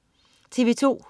TV2: